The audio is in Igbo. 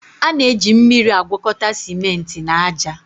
A na-eji mmiri agwakọta simenti na aja.